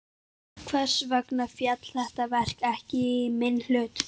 Hvers vegna féll þetta verk ekki í minn hlut?